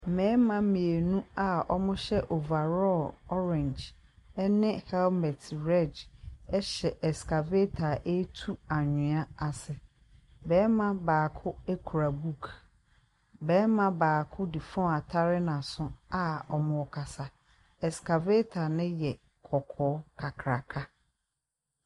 Mmarima mmienu a wɔhyɛ overall orange ne helmet red hyɛ excavator ɛretu anwea ase. Barima baako kura book. Barima baako de phone atare n'aso a wɔrekasa. Excavator no yɛ kɔkɔɔ kakraka.